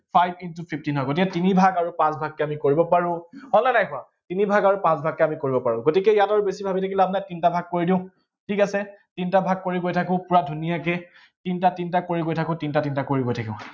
এইটো five into fifteen হব। ইয়াক তিনিভাগ আৰু পাঁচভাগকে আমি কৰিব পাৰো। হয় নে নাই হোৱা, তিনিভাগ আৰু পাঁট ভাগকে আমি কৰিব পাৰো। গতিকে ইয়াত আৰু বেছি ভাবি লাভ নাই, তিনটা ভাগ কৰি দিওঁ, ঠিক আছে, তিনটা ভাগ কৰি গৈ থাকো পূৰা ধুনীয়াকে। তিনটা তিনটা কৰি গৈ থাকো, তিনটা তিনটা কৰি গৈ থাকো।